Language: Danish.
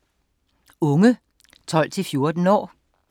Unge 12-14 år